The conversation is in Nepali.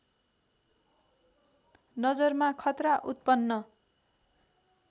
नजरमा खतरा उत्पन्न